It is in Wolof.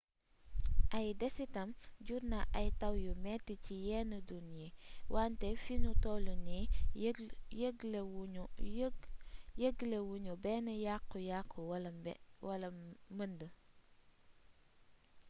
ay desitam jur nañu ay taw yu metti ci yenn dun yi wante fi nu toll nii yëglewunu benn yàkku yàkku wala mbënd